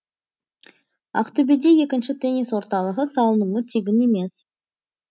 ақтөбеде екінші теннис орталығы салынуы тегін емес